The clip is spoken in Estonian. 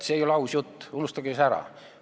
See ei ole aus jutt, unustage see ära!